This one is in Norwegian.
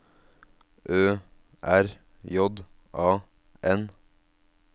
Ø R J A N